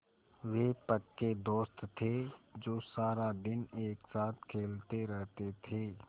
वे पक्के दोस्त थे जो सारा दिन एक साथ खेलते रहते थे